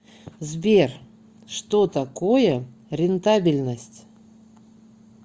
сбер что такое рентабельность